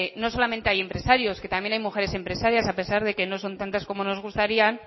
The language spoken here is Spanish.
no solamente hay empresarios que también hay mujeres empresarias a pesar de que no son tantas como nos gustarían